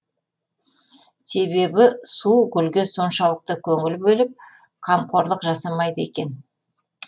себебі су гүлге соншалықты көңіл бөліп қамқорлық жасамайды екен